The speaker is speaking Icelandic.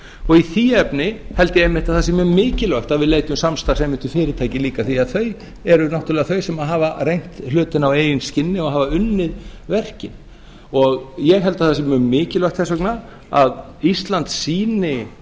og í því efni held ég einmitt að það sé mjög mikilvægt að við leitum samstarfs einmitt við fyrirtæki líka því þau eru náttúrlega þau sem hafa reynt hlutina á eigið skinni og hafa unnið verkin og ég held að það sé mjög mikilvægt þess vegna að ísland sýni